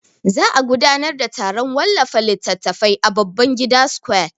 Za'a gudanar da taron wallafa littatafai a Babangida square.